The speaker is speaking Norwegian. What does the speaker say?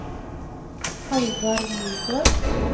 Halvard Nygård